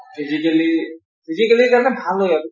physically physically ৰ কাৰণে ভাল হয় আৰু